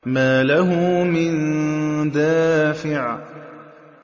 مَّا لَهُ مِن دَافِعٍ